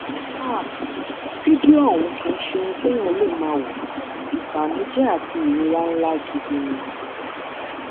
aaah fídíò ọhún kì í ṣe ohun téèyàn lè máa wo ìbànújẹ àti ìrora ńlá gidi ni